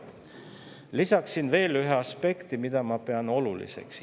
Lisaksin veel ühe aspekti, mida ma pean oluliseks.